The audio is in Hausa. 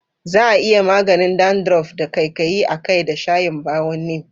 Za a iya maganin dandruff da ƙaiƙayi a kai da shayin bawon neem.